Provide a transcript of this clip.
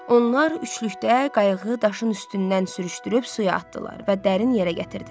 Onlar üçlükdə qayığı daşın üstündən sürüşdürüb suya atdılar və dərin yerə gətirdilər.